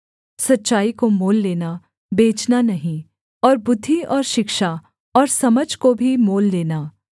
सच्चाई को मोल लेना बेचना नहीं और बुद्धि और शिक्षा और समझ को भी मोल लेना